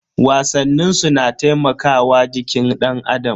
Wasannin su na taimakawa jikin danAdam.